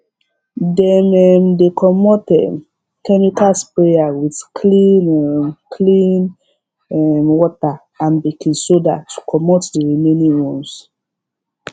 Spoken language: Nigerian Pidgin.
dem um dey comot um chemical sprayer with clean um clean um water and baking soda to comot the remaining ones